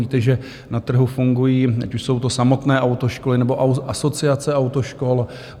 Víte, že na trhu fungují, ať už jsou to samotné autoškoly, nebo Asociace autoškol.